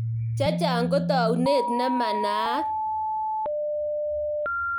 Chechang ko taunet ne manaat.